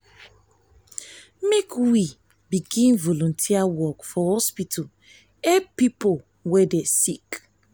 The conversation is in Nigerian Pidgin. make we begin volunteer for hospital help pipo wey dey sick.